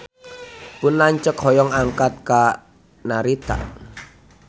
Pun lanceuk hoyong angkat ka Narita